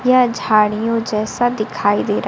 यह झाड़ियों जैसा दिखाई दे र--